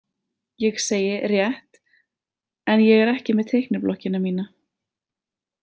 Ég segi: Rétt en ég er ekki með teikniblokkina mína.